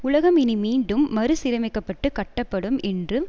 உலகம் இனி மீண்டும் மறுசீரமைக்கப்பட்டு கட்டப்படும் என்று